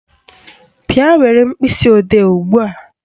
Bịa were mkpịsịodee ugbua